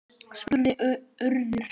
spurði Urður.